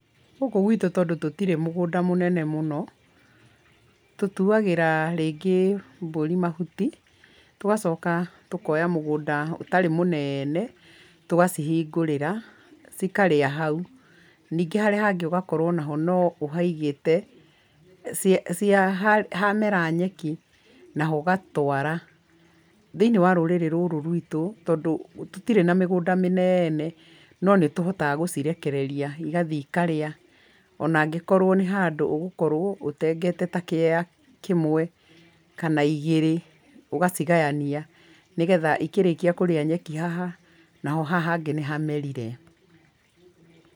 Gũkũ gwĩtũ tondũ tũtirĩ mũgũnda mũnene mũno, tũtuagĩra rĩngĩ mbũri mahuti, tũgacoka tũkoya mũgũnda ũtarĩ mũneene tũgacihingũrĩra cikarĩa hau, nĩngĩ harĩa hangĩ ũgakorwo no ũhaigĩte, hamera nyeki, naho ũgatwara. Thĩiniĩ wa rũrĩrĩ rũrũ ruitũ tondũ tũtirĩ na mĩgũnda mĩneene, no nĩtũhotaga gũcirekereria igathiĩ ikarĩa onangĩkorwo nĩ handũ ũgũkorwo ũtengete ta kĩea kĩmwe kana ĩgĩrĩ ũgacigayania nĩgetha ĩkĩrĩkia kũrĩa nyeki haha naho haha hangĩ nĩ hamerire.